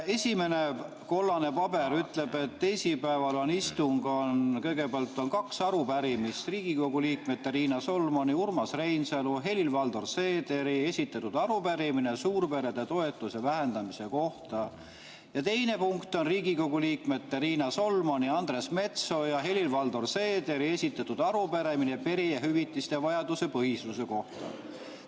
Esimene kollane paber ütleb, et teisipäeval on istung, kõigepealt on kaks arupärimist, Riigikogu liikmete Riina Solmani, Urmas Reinsalu ja Helir-Valdor Seederi esitatud arupärimine suurperede toetuse vähendamise kohta ja teine punkt on Riigikogu liikmete Riina Solmani, Andres Metsoja ja Helir-Valdor Seederi esitatud arupärimine perehüvitiste vajaduspõhisuse kohta.